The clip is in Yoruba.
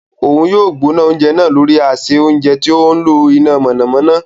Òun yóò gbóná oúnjẹ náà lórí ase ounjẹ tí o ńlo iná mọ̀nàmọ́ná